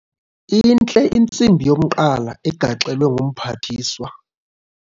Intle intsimbi yomqala egaxelwe ngumphathiswa.